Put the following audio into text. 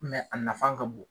a nafa ka bon